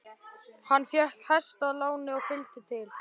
Hann fékk hest að láni og fylgd til